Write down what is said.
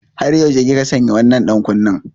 Har tsawon yaushe kika sanya wannan ɗankunnen?